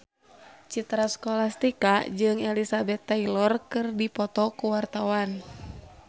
Citra Scholastika jeung Elizabeth Taylor keur dipoto ku wartawan